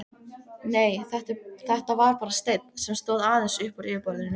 Nei, þetta var bara steinn, sem stóð aðeins uppúr yfirborðinu.